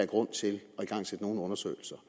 grund til at igangsætte nogen undersøgelser